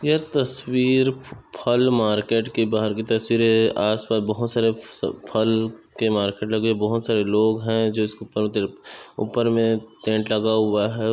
यह तस्वीर फ-- फल मार्केट की बाहर की तस्वीरें आस- पास बहुत सारे से फल के मार्केट लगे बहुत सारे लोग हैं जो इसके ऊपर तरफ ऊपर में टेंट लगा हुआ है--